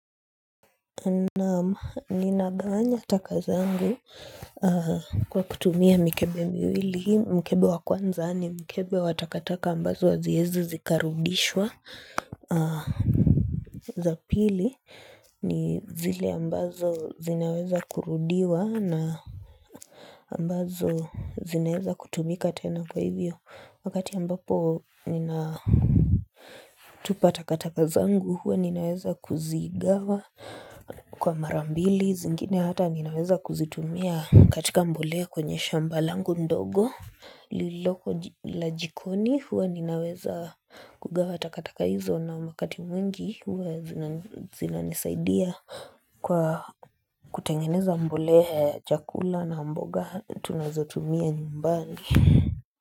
Naam nina gawanya taka zangu kwa kutumia mikebe miwili mkebe wa kwanza ni mkebe wa takataka ambazo haziwezi zikarudishwa za pili ni zile ambazo zinaweza kurudiwa na ambazo zinaweza kutumika tena kwa hivyo wakati ambapo nina tupa takataka zangu huwa ninaweza kuzigawa kwa mara mbili zingine hata ninaweza kuzitumia katika mbolea kwenye shamba langu ndogo lililoko la jikoni huwa ninaweza kugawa takataka hizo na wakati mwingi huwa zinanisaidia kwa kutengeneza mbolea ya chakula na mboga tunazotumia nyumbani.